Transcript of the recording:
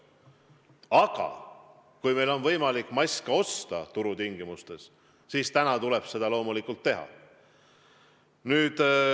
Aga kui meil on võimalik maske osta turutingimustel, siis seda tuleb täna loomulikult teha.